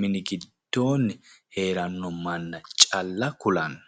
mini giddoonni heeranno manna calla kulanno